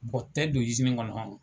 tɛ don kɔnɔ.